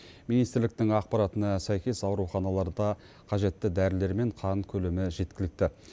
министрліктің ақпаратына сәйкес ауруханаларда қажетті дәрілер мен қан көлемі жеткілікті